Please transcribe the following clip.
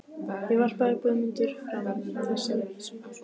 Þá varpaði Guðmundur fram þessari vísu